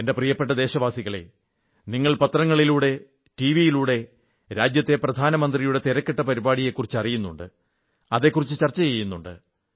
എന്റെ പ്രിയപ്പെട്ട ദേശവാസികളേ നിങ്ങൾ പത്രങ്ങളിലൂടെ ടിവിയിലൂടെ രാജ്യത്തെ പ്രധാനമന്ത്രിയുടെ തിരക്കിട്ട പരിപാടികളെക്കുറിച്ച് അറിയുന്നുണ്ട് അതെക്കുറിച്ച് ചർച്ച ചെയ്യുന്നുമുണ്ട്